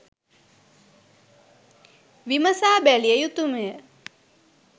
විමසා බැලිය යුතුමය.